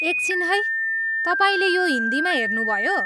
एकछिन है, तपाईँले यो हिन्दीमा हेर्नुभयो?